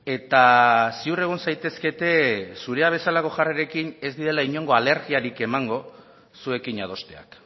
eta ziur egon zaitezkete zurea bezalako jarrerarekin ez direla inongo alergiarik emango zuekin adosteak